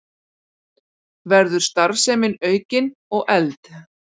Verður starfsemin aukin og efld